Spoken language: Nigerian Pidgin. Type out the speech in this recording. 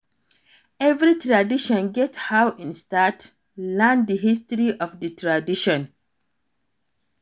Every tradition get how in start, learn di history of the tradition